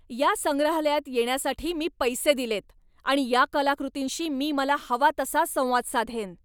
या संग्रहालयात येण्यासाठी मी पैसे दिलेत आणि या कलाकृतींशी मी मला हवा तसा संवाद साधेन!